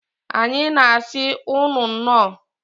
Anyị na asi ụnụ nnọọ.